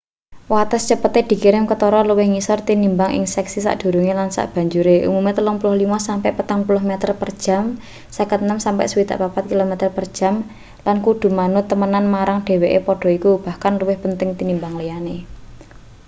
wates cepete dikirim ketara luwih ngisor tinimbang ing seksi sadurunge lan sabanjure — umume 35-40 meter per jam 56-64.km/jam — lan kudu manut temenan marang dheweke padha iku bahkan luwih penting tinimbang liyane